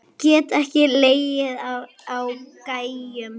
Get ekki legið á gægjum.